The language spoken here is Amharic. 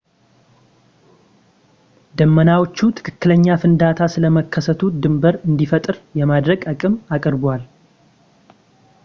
ዳመናዎቹ ትክክለኛ ፍንዳታ ስለመከሰቱ ድንብር እንዲፈጠር የማድረግ አቅምን አቅርበዋል